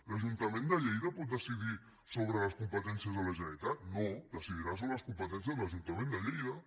l’ajuntament de lleida pot decidir sobre les competències de la generalitat no decidirà sobre les competències de l’ajuntament de lleida